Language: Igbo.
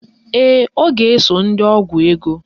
Ee, ọ ga-eso ndị ọgwụ ego